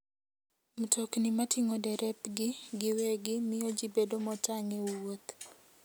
Mtokni mating'o derepgi giwegi miyo ji bedo motang' e wuoth.